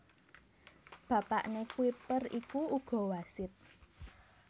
Bapakné Kuiper iku uga wasit